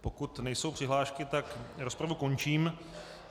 Pokud nejsou přihlášky, tak rozpravu končím.